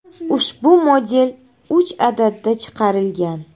Ushbu model uch adadda chiqarilgan.